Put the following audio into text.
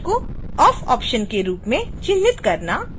active point को off option के रूप में चिन्हित करना और